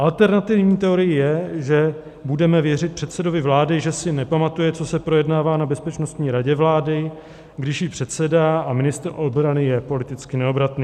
Alternativní teorií je, že budeme věřit předsedovi vlády, že si nepamatuje, co se projednává na Bezpečnostní radě vlády, když jí předsedá, a ministr obrany je politicky neobratný.